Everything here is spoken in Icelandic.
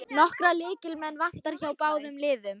Nokkra lykilmenn vantar hjá báðum liðum